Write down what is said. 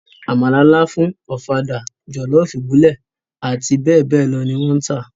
Àmàlà lááfún, Ọ̀fadà, jọ̀lọ́ọ̀fù ìbílẹ̀ àti bẹ́ẹ̀ bẹ́ẹ̀ lọ ni wọ́n ń tà